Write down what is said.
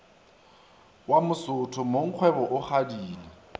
wa mosotho mongkgwebo o kgadile